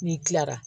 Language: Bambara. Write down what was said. N'i kilara